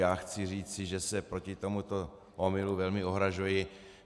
Já chci říci, že se proti tomuto omylu velmi ohrazuji.